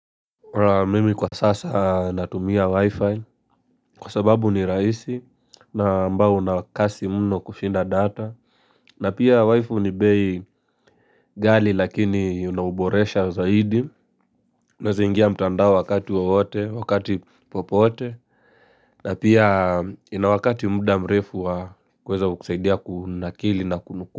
Mimi kwa sasa natumia wi-fi kwa sababu ni rahisi na ambao na kasi mno kushinda data na pia wi-fi ni bei ghali lakini unauboresha zaidi Unaeza ingia mtandao wakati wawote wakati popote na pia ina wakati muda mrefu wa kuweza kusaidia kunakili na kunukuu.